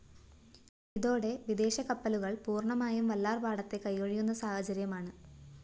ഇതോടെ വിദേശകപ്പലുകള്‍ പൂര്‍ണ്ണമായും വല്ലാര്‍പാടത്തെ കൈയൊഴിയുന്ന സാഹചര്യമാണ്